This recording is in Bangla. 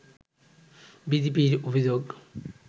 বিজেপির অভিযোগ